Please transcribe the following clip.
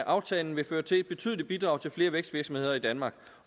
aftalen vil føre til et betydeligt bidrag til flere vækstvirksomheder i danmark